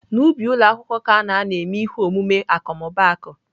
N'ubi ụlọ akwụkwọ ka ana anọ eme ihe omume akọmmụbaaku.